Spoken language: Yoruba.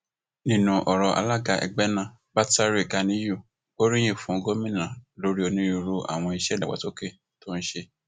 nínú ọrọ rẹ alaga ẹgbẹ náà batare ganiyun gbóríyìn fún gomina lórí onírúurú àwọn iṣẹ ìdàgbàsókè tó ń ṣe